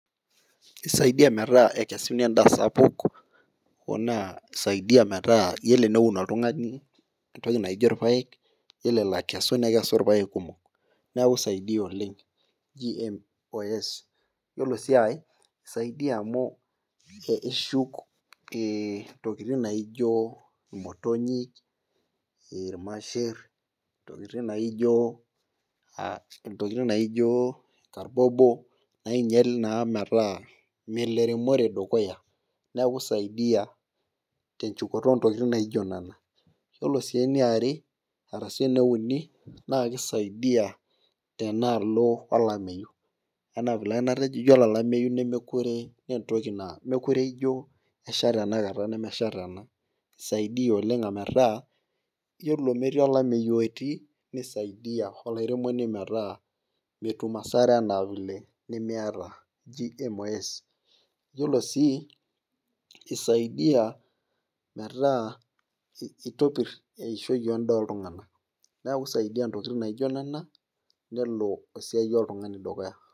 Isaidia metaa ekesuni edaa sapuk. hoo naa isaidia metaa iyiolo eneun oltungani entoki naijo ilpaek. iyiolo elo aikesu, nekesu ilpaek kumok. neeku isaidia oleng GMO's iyiolo sii aae, isaidia amu eshuk ee intokitin naijo imotonyik, ilmasher, intokitin naijo, intokitin naijo karbobo. naingial naa metaa. melo eremore dukuya. neeku isaidia, tenchukoto oo ntokitin naijo nena. iyiolo sii eniare arashu eneuni, naa kisaidia tenaalo olameyu. anaa vile ake natejo iyioolo olameyu nemekure, mme e toki naa meekure ijo esha tenakata, nemesha tena. isaidia oleng ometaa, iyiolo metii olameyu we tii nisaidia olairemoni metaa metum asara anaa vile nimiata GMO's. iyiolo sii isaidia metaa kitopir edaa eishoi oltungana. neku Isaidia ntokitin naijo Nena..nelo esiai oltungani dukuya.